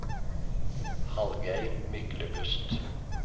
Hallgeir Myklebust